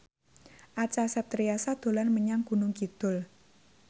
Acha Septriasa dolan menyang Gunung Kidul